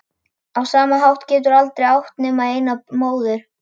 Á sama hátt geturðu aldrei átt nema eina móður.